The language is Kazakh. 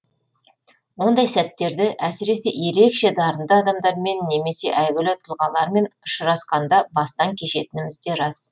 ондай сәттерді әсіресе ерекше дарынды адамдармен немесе әйгілі тұлғалармен ұшырасқанда бастан кешетініміз де рас